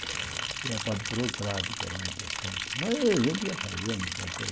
Tem a parte burocrática, né está certo mas a gente ia fazendo.